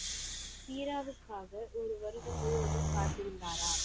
வீராவுக்காக ஒரு வருடம் முழுவதும் காத்திருந்தாரா?